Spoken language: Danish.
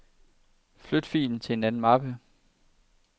Flyt filen til en anden mappe.